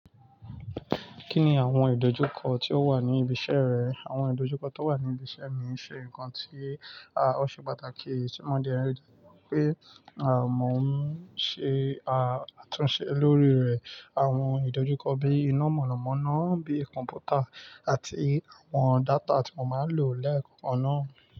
Kí ni àwọn ìdojúkọ tí ó wà ní ibi iṣẹ́ rẹ? Àwọn ìdojúkọ tíó wà ní ibi iṣẹ́ mi iṣe nkan tí, à, ó ṣe pàtàkì tí mo de nrí pé, à, mò ń ṣe, à, àtúnṣe lórí rẹ̀. Àwọn ìdojúkọ bíi iná mọ̀nàmọ́ná bí kọ̀m̀pútà àti àwọn data tí mo má n lò lẹ́ẹ̀kan náà.